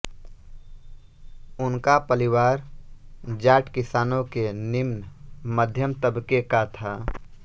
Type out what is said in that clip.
उनका परिवार जाट किसानों के निम्न मध्यम तबके का था